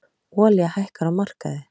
Olía hækkar á markaði